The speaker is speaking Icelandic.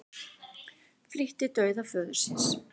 Flýtti dauða föður síns